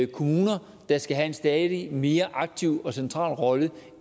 kommuner der skal have en stadig mere aktiv og central rolle